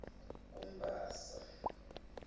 kumbasa